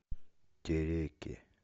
тереке